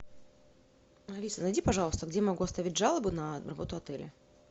алиса найди пожалуйста где я могу оставить жалобу на работу отеля